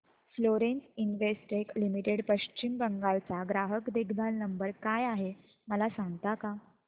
Florence Investec Limited Paschim Bengal चा ग्राहक देखभाल नंबर काय आहे मला सांगता का